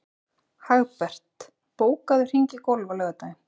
Hagbert, bókaðu hring í golf á laugardaginn.